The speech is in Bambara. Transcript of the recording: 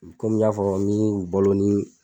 Komi n y'a fɔ ni u balo nin